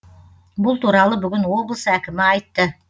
бұл туралы бүгін облыс әкімі айтты